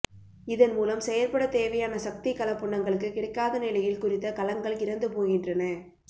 இதன் மூலம் செயற்படத் தேவையான சக்தி கலப் புன்னங்கங்களுக்கு கிடைக்காத நிலையில் குறித்த கலங்கள் இறந்து போகின்றன